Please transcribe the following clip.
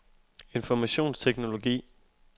informationsteknologi